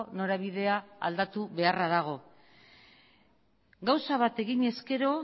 norabidea aldatu beharra dago gauza bat egin ezkero